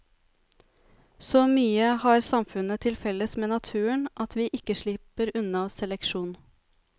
Så mye har samfunnet til felles med naturen at vi ikke slipper unna seleksjon.